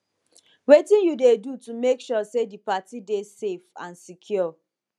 wetin you dey do to make sure say di party dey safe and secure